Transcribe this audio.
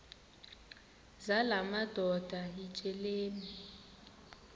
zala madoda yityesheleni